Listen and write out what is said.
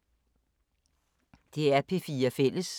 DR P4 Fælles